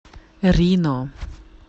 рино